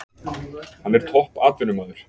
Hann er topp atvinnumaður.